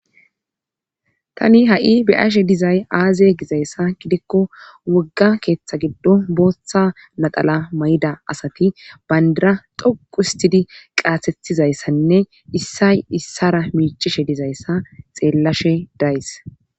tani ha7i beashe dizay aaze gizayssa gidikko wogga keeththa giddo booththa nadala may7ida asati bayndara doquustidi qaatetizayssanne issay issara miichishe dizayssa xeellashe days